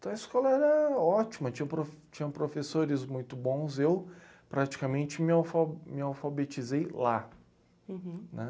Então a escola era ótima, tinham prof tinham professores muito bons, eu praticamente me alfal... Me alfabetizei lá... Uhum... Né?